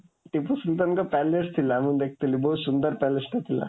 ଟିପୁ ସୁଲତାନଙ୍କ palace ଥିଲା, ମୁଁ ଦେଖିଥିଲି, ବହୁତ ସୁନ୍ଦର palaceଟେ ଥିଲା।